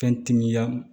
Fɛn timiya